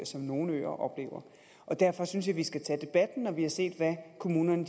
som nogle øer oplever derfor synes jeg vi skal tage debatten når vi har set hvad kommunerne